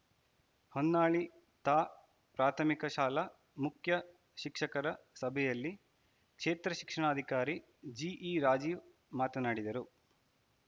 ಹೊನ್ನಾಳಿ ತಾ ಪ್ರಾಥಮಿಕ ಶಾಲಾ ಮುಖ್ಯ ಶಿಕ್ಷಕರ ಸಭೆಯಲ್ಲಿ ಕ್ಷೇತ್ರ ಶಿಕ್ಷಣಾಧಿಕಾರಿ ಜಿಇ ರಾಜೀವ್‌ ಮಾತನಾಡಿದರು